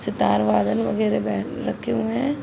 सितार वादन वगेरा बै रखे हुए हैं।